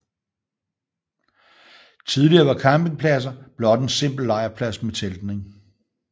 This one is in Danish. Tidligere var campingpladser blot en simpel lejrplads med teltning